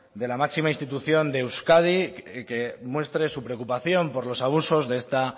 de la máxima institución de euskadi que muestre su preocupación por los abusos de esta